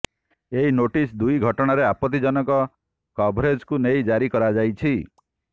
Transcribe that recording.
ଏହି ନୋଟିସ୍ ଦୁଇଟି ଘଟଣାରେ ଆପତ୍ତିଜନକ କଭରେଜକୁ ନେଇ ଜାରି କରାଯାଇଛି